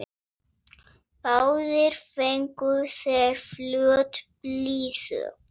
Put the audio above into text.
Báðir fengu þeir flöt blýþök.